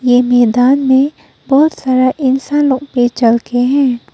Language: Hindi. ये मैदान में बहुत सारा इंसान लोग भी चल के हैं।